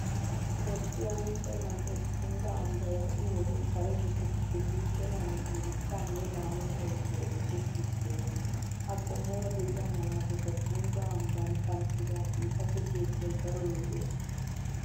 Toophphiya huuphphe man'e Tungga ambbay ha'i wodiyan kare biittatuppe guuxxenna hanotan dichchaanne lamettaa oosoy oosettiidi de'ees. Ha qommoora diya malaataykka Tungga ambbaa kanttibaa xifate keettagee daro lo'ees.